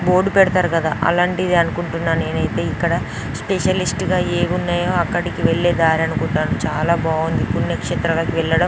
Board పెడతారు కదా అలాంటిది అనుకుంటున్నాను నేను అయితే ఇక్కడ స్పెషలిస్ట్ గా ఏమున్నాయో అక్కడికి వెళ్లే దారి అనుకుంటాను చాలా బాగుంది పుణ్యక్షేత్రాలకు వెళ్లడం.